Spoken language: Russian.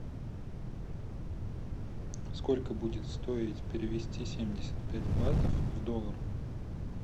сколько будет стоить перевести семьдесят пять батов в доллар